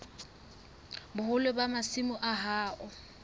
boholo ba masimo a hao